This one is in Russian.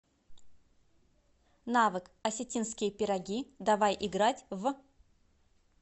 навык осетинские пироги давай играть в